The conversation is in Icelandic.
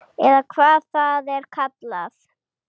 Eða hvað það er kallað.